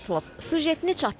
Süjetini çatdırmalıdır.